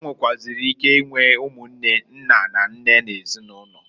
E nwekwuaziri ike inwe umunne nna na nne nezinulo.